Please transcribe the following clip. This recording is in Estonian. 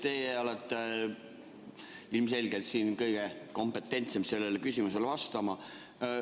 Te olete ilmselgelt siin kõige kompetentsem sellele küsimusele vastama.